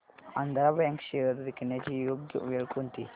Andhra Bank shares विकण्याची योग्य वेळ कोणती